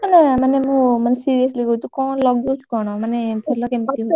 ମାନେ ମାନେ ମୁଁ ମାନେ seriously କହୁଛି, ତୁ କଣ ଲଗଉଛୁ କଣ ମାନେ ଭଲ କେମିତି ହଉଛି?